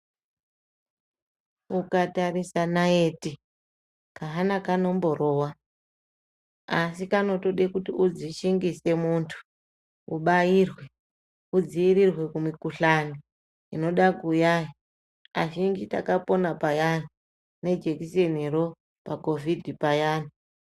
Ukatarisa naiti ,kahana kanomborova, asi kanotode kuti udzishingise muntu, ubairwe ,udziirirwe kumikhuhlani inoda kuuya. Azhinji takapona payani, nejekiseniro pakhovhidhi payani.